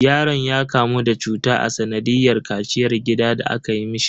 Yaron ya kamu da cuta a sanadiyar kaciyar gida da aka yi mishi.